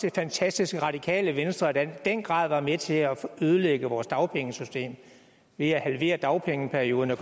er fantastisk at radikale venstre der i den grad var med til at ødelægge vores dagpengesystem ved at halvere dagpengeperioden og